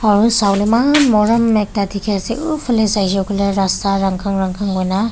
aro sawole eman morom ekta dikhi ase uphaley saishe koile rasta rankhan rankhan hoi na.